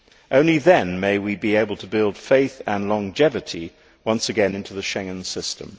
Only then will we be able to build faith and longevity once again into the Schengen system.